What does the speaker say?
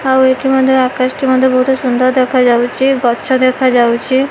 ଆଉ ଏଠି ମଧ୍ଯ ଆକାଶ ଟି ମଧ୍ଯ ବହୁତ୍ ସୁନ୍ଦର୍ ଦେଖାଯାଉଛି ଗଛ ଦେଖା ଯାଉଛି।